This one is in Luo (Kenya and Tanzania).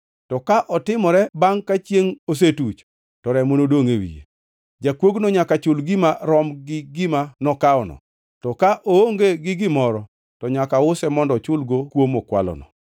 to ka otimore bangʼ ka chiengʼ osetuch, to remo nodongʼ e wiye. “Jakuogno nyaka chul gima rom gi gima nokawono, to ka oonge gi gimoro, to nyaka use mondo ochulgo kuo mokwalono.